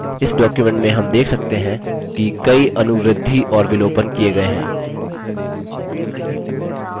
इस डॉक्युमेंट में हम देख सकते हैं कि कई अनुवृद्धिएडिशन और विलोपन किये गये हैं